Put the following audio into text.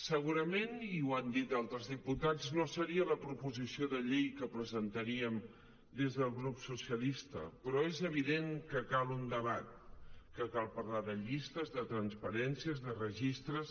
segurament i ho han dit altres diputats no seria la proposició de llei que presentaríem des del grup socialista però és evident que cal un debat que cal parlar de llistes de transparència de registres